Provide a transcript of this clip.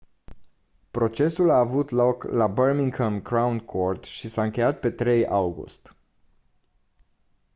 procesul a avut loc la birmingham crown court și s-a încheiat pe 3 august